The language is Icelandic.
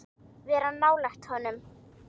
Vera nálægt honum?